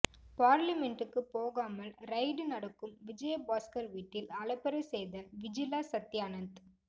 பார்லிமென்ட்டுக்கு போகாமல் ரைடு நடக்கும் விஜயபாஸ்கர் வீட்டில் அலப்பறை செய்த விஜிலா சத்தியானந்த்